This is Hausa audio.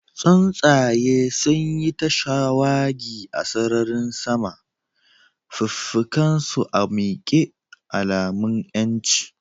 Tsuntsaye sun yi ta shawagi a sararin sama, fikafikansu a miƙe, alamun 'yanci.